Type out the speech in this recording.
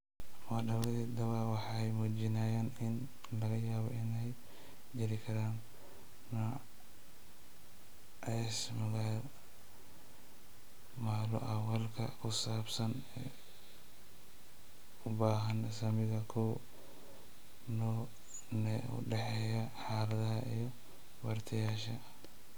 Moodaaladii dhawaa waxay muujinayaan in laga yaabo in ay jiri karaan nuances malo-awaalka ku saabsan u baahan saamiga koow: koow nee u dhexeeya aaladaha iyo bartayaasha.